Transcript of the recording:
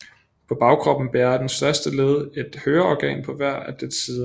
På bagkroppen bærer det første led et høreorgan på hver af dets sider